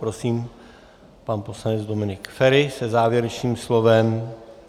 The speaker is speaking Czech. Prosím pan poslanec Dominik Feri se závěrečným slovem.